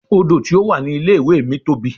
Odò tí ó wà ní ilé ìwé mi tóbi.